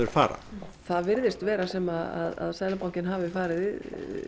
fara það virðist vera sem að Seðlabankinn hafi farið